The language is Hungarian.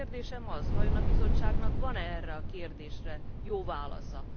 A kérdésem az, hogy vajon a Bizottságnak van e erre a kérdésre jó válasza?